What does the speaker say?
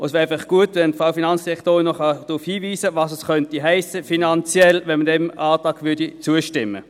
Es wäre gut, die Frau Finanzdirektorin könnte darauf hinweisen, was es finanziell hiesse, wenn man diesem Antrag zustimmte.